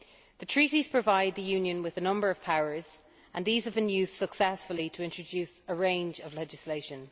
The Treaties provide the Union with a number of powers, and these have been used successfully to introduce a range of legislation.